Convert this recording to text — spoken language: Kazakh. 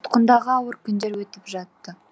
тұтқындағы ауыр күндер өтіп жатты